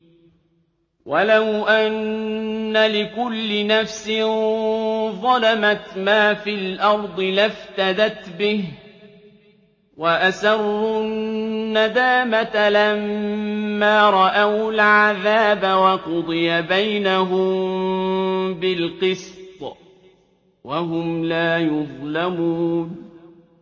وَلَوْ أَنَّ لِكُلِّ نَفْسٍ ظَلَمَتْ مَا فِي الْأَرْضِ لَافْتَدَتْ بِهِ ۗ وَأَسَرُّوا النَّدَامَةَ لَمَّا رَأَوُا الْعَذَابَ ۖ وَقُضِيَ بَيْنَهُم بِالْقِسْطِ ۚ وَهُمْ لَا يُظْلَمُونَ